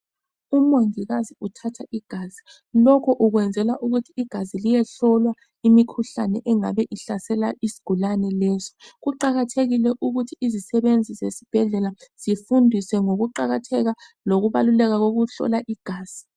Umongikazi uthatha igazi, lokhu ukwenzela ukuthi igazi liyehlolwa imikhuhlane engabe ihlasela isigulane lesi. Kuqakathekile ukuthi izisebenzi zesibhedlela zifundiswe ngokuqakatheka lokubaluleka kokuhlola igazi.